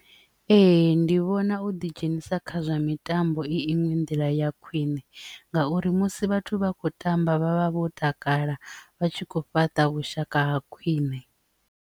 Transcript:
Ee, ndi vhona u ḓi dzhenisa kha zwa mitambo i iṅwe nḓila ya khwine ngauri musi vhathu vha kho tamba vhavha vho takala vha tshi kho fhaṱa vhushaka ha khwine.